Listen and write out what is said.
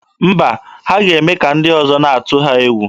Mba, ha ga-eme ka ndị ọzọ na-atụ ha egwu.